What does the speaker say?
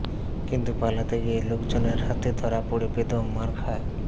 কিন্তু পালাতে গিয়ে লোকজনের হাতে ধরা পড়ে বেদম মার খায়